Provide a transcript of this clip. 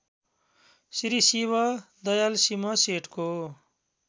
Shri Shiv Dayal Singh सेठको